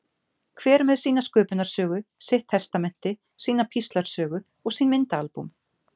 Hver með sína sköpunarsögu, sitt testamenti, sína píslarsögu og sín myndaalbúm.